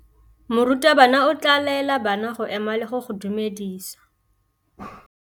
Morutabana o tla laela bana go ema le go go dumedisa.